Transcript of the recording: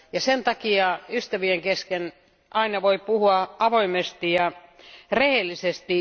Sen takia ystävien kesken voi aina puhua avoimesti ja rehellisesti.